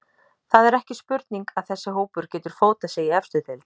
Það er ekki spurning að þessi hópur getur fótað sig í efstu deild.